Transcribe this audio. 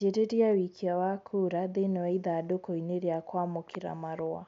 Anjirĩria wĩikia wa kuura thĩini wa ithandūkū inī rīa kwamūkīra marua